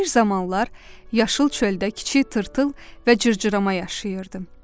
Bir zamanlar yaşıl çöldə kiçik tırtıl və cırcırama yaşayırdı.